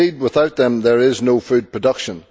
Indeed, without them, there is no food production.